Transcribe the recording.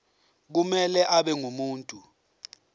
kumele abe ngumuntu